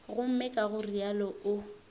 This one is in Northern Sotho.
gomme ka go realo o